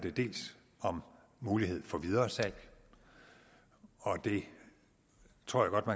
om mulighed for videresalg og det tror